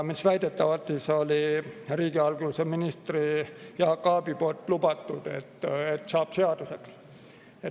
Väidetavalt oli riigihalduse minister Jaak Aab lubanud, et see saab seaduseks.